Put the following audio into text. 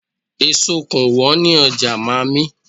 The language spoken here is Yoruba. Èso kò wọ́n ní ọjà mààmí